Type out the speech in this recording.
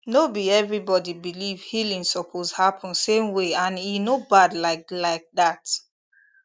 no be everybody believe healing suppose happen same way and e no bad like like that